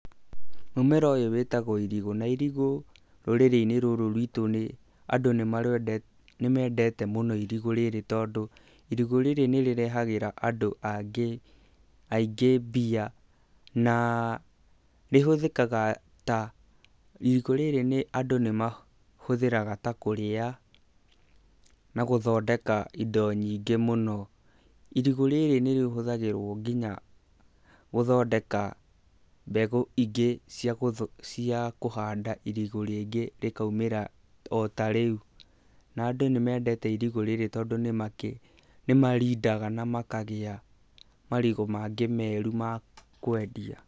Mũmera ũyũ wĩtagwo irigũ na irigũ rũrĩrĩ-inĩ rũrũ rwitu nĩ andũ nĩ mendete mũno irigũ rĩrĩ tondũ irigũ rĩrĩ nĩ rĩrehagĩra andũ angĩ aingĩ mbia na rĩhũthĩka ta, irigũ rĩrĩ andũ nĩ mahũthĩraga ta kũrĩa na gũthondeka indo nyingĩ mũno, irigũ rĩrĩ nĩ rĩhũthagĩrwo nginya gũthondeka mbegũ ingĩ cia kũhanda irigũ rĩngĩ rĩkaumĩra otarĩu na andũ nĩ mendete irigũ rĩrĩ tondũ nĩ marindaga na makagia marigũ mangĩ meru ma kwendia.